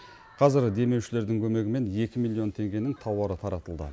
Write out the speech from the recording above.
қазір демеушілердің көмегімен екі миллион теңгенің тауары таратылды